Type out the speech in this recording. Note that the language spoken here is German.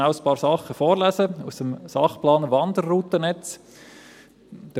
Ich lese rasch einige Dinge aus dem Sachplan Wanderroutennetz vor: